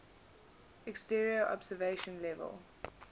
exterior observation level